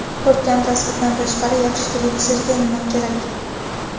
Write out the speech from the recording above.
Ko‘rkam tasvirdan tashqari yaxshi televizorga nima kerak?